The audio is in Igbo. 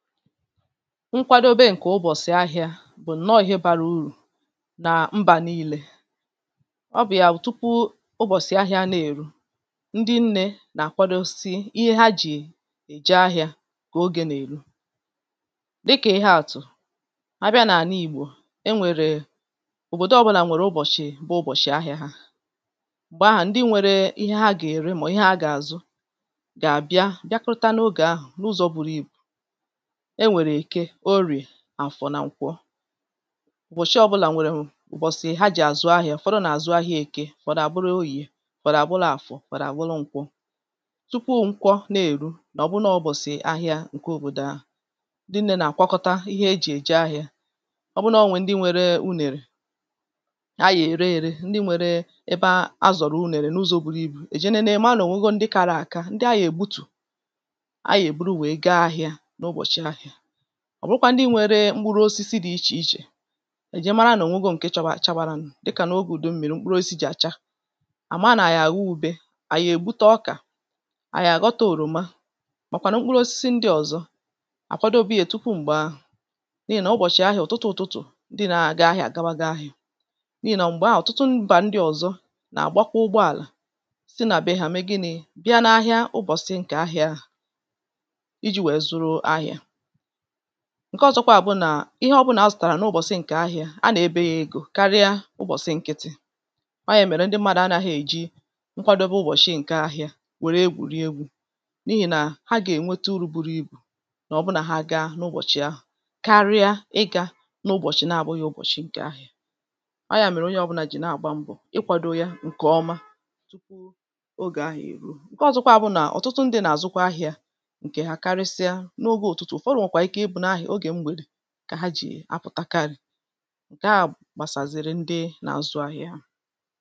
Nkwadobė ǹkè ụbọ̀sị̀ ahịȧ bụ̀ ǹnọọ̇ ihe bara urù na mbà nii̇lė. ọ bụ̀ ya wụ̀ tupu ụbọ̀sị̀ ahịȧ na-èru, ndị nnė nà-àkwadosi ihe ha jì èje ahịȧ kà ogė nà-èru. Dịkà ihe a tụ̀; abịa n’àla ìgbò, e nwèrè òbòdò ọbụ̇là nwèrè ụbọ̀chị̀ bụ ụbọ̀chị̀ ahịȧ ha. Mgbè ahụ̀ ndị nwèrè ihe ha gà-ère mà ihe ha gà-àzụ, gà àbịa bịa kụrụta n’ogè ahụ̀ n’ụzọ̇ buru ìbu. Enwèrè èke, orìè, àfọ̀ nà nkwọ. ụ̀bọ̀chị ọbụlà nwèrè ụ̀bọ̀sị̀ ha jì àzụ ahịȧ. Ufọdụ nà àzụ ahịȧ èke, ufọ̀dụ à bụrụ orìe, ufọ̀dụ à bụrụ àfọ̀, ufọ̀dụ à bụrụ nkwọ. Tupu nkwọ na-èru nà ọ̀ bụrụ na ọ̀ ụ̀bosị̀ ahịȧ ǹke òbòdò ahu, ndị nnė nà-àkwọkọta ihe e jì èje ahịȧ. ọ bụrụ nà ọ̀ nwè ndị nwere unèrè, a yà ère ère, ndị nwèrè ebe a zọ̀rọ̀ unèrè n’ụzọ̇ buru ibù, èje nène marà nà ò nwego ndị kara àka, ndị a yà ègbutù, a ya bụrụ wee gà-ahia na-ụ̀bosị̀ ahịȧ. ọ bụrụkwa ndị nwere mkpụrụosisi dị ichè ichè, èje mara nà ònwego ǹke chabà chabara nụ,̇ dị kà n’ogè ùdu mmi̇ri mkpụrụosi jì àcha, àma nà à ya àgho ube, à ya ègbute ọkà, ànyị̀ àghọta oroma, màkwànụ mkpụrụosisi ndị ọ̀zọ, àkwadobe ya tupu m̀gbè ahụ̀. N’ihì nà ụbọ̀chị̀ ahụ, ụtụtụ ụ̀tụtụ̀ ndị na-aga ahịa àgawago ahịa. N’ihì nà mgbè ahụ, ọ̀tụtụ mbà ndị ọ̀zọ nà-àgbakwa ụgbọ àlà site nà beɦà mee gịnị?̇ bịa n’ahịa ụbọ̀chị ǹkè ahịa ahụ iji̇ wèe zuru ahịa. Nkè ozokwa a bụrụ na, ihe ọbụna asụtara n’ụbọchị nke ahịa, a na-ebe ya egȯ karịa ụbọchị nkịtị. ọ ya mere ndị mmadụ a naghi-eji nkwadobe ụbọchị nke ahịa were egwuri egwu n'ihi na ha ga-enweta uru buru ibù, n’ọbụna ha ga n’ụbọchị ahụ̀ karịa ịga n’ụbọchị n'abughị ụbọchị nke ahịa. A ya mere onye ọbụna ji na-agba mbọ̇ ịkwado ya ǹkè ọma, ọge ahu ruo. Nke ọzokwa bụnà ọ̀tụtụ ndị nà-àzụkwa ahịa nke ha karisia n'ogė ụtụtụ, o nwee kwà Ike ìbu ay n'oge mgbède ka hà ji apụ̀takarị̀ ǹkè a gbasàziri ndị na-azụ ahịa ahụ̀.